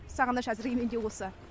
сағыныш әзірге мендегі осы